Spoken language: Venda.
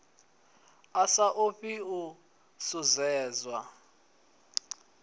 a sa ofhi u shushedzwa